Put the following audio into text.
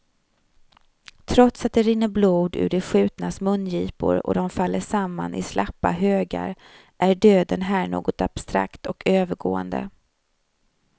Trots att det rinner blod ur de skjutnas mungipor och de faller samman i slappa högar är döden här något abstrakt och övergående.